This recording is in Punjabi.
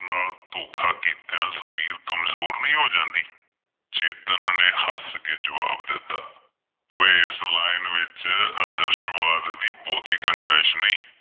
ਧੋਖਾ ਕੀਤੀਆਂ ਜ਼ਮੀਰ ਕਮਜ਼ੋਰ ਨਹੀਂ ਹੋ ਜਾਂਦੀ, ਚੇਤਨ ਨੇ ਹੱਸ ਕਿ ਜਵਾਬ ਦਿੱਤਾ, ਉਹ ਇਸ line ਵਿੱਚ ਆਦਰਸ਼ਵਾਦ ਦੀ ਬਹੁਤੀ ਗੁਜ਼ਾਇਸ਼ ਨਹੀਂ